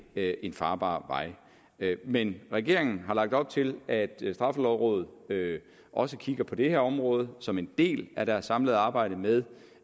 er en farbar vej men regeringen har lagt op til at straffelovrådet også kigger på det her område som en del af deres samlede arbejde med